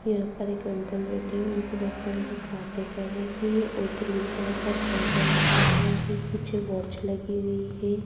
यहाँ पर एक अंकल बैठे हुए हैं जिनसे बहुत सारे लोग बातें कर रहे हैं की और ग्रीन कलर का पर्दा लगा हुआ है पीछे वॉच लगी हुई है।